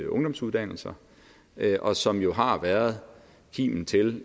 ungdomsuddannelser og som jo har været kimen til